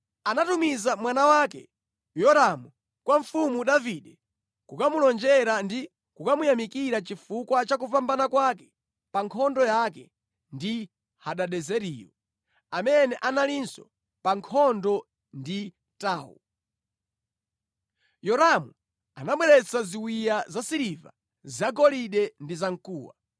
anatumiza mwana wake Yoramu kwa mfumu Davide kukamulonjera ndi kukamuyamikira chifukwa cha kupambana kwake pa nkhondo yake ndi Hadadezeriyo, amene analinso pa nkhondo ndi Tou. Yoramu anabweretsa ziwiya zasiliva, zagolide ndi zamkuwa.